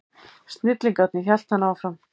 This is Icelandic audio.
Snillingarnir, hélt hann áfram.